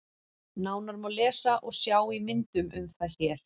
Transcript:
Nánar má lesa og sjá í myndum um það hér.